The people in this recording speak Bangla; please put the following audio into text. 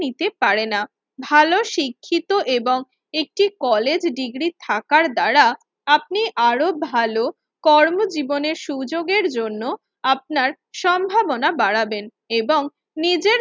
নিতে পারে না। ভালো শিক্ষিত এবং একটি কলেজ ডিগ্রী থাকার দ্বারা আপনি আরো ভালো কর্মজীবনের সুযোগের জন্য আপনার সম্ভাবনা বাড়াবেন এবং নিজের